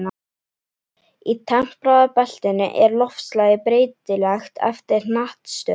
Í tempraða beltinu er loftslagið breytilegt eftir hnattstöðu.